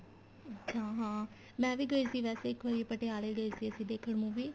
ਅੱਛਾ ਹਾਂ ਮੈਂ ਵੀ ਗਈ ਸੀ ਵੈਸੇ ਇੱਕ ਵਾਰੀ ਪਟਿਆਲੇ ਗਏ ਸੀ ਅਸੀਂ ਦੇਖਣ movie